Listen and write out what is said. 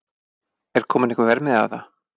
Er kominn einhver verðmiði á það?